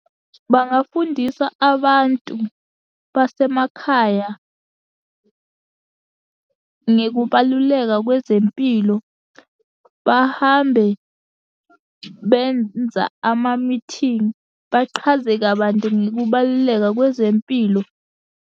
Bangafundisa abantu basemakhaya ngekubaluleka kwezempilo, bahambe benza amamithingi, baqhaze kabanti ngokubaluleka kwezempilo.